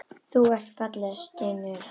Þú ert falleg, stynur hann.